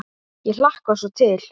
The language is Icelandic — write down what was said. Ég hlakka svo Til.